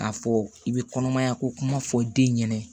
K'a fɔ i bɛ kɔnɔmaya ko kuma fɔ den ɲɛnɛ